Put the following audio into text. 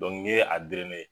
ni ye a